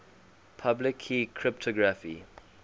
public key cryptography